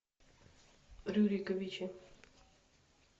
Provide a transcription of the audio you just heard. рюриковичи